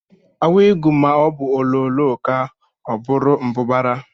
Awigu maọbụ ololoo kaa, ọ bụrụ mbụbara